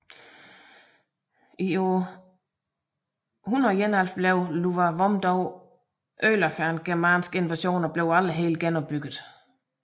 I år 171 blev Iuvavum dog ødelagt af en germansk invasion og blev aldrig helt genopbygget